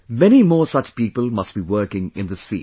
Many more such people must be working in this field